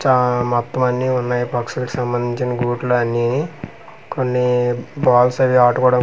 ఛ మొత్తం అన్నీ ఉన్నాయి పక్షులకు సంబందించి గుట్లు అన్నీ బాల్స్ అవి ఆడు--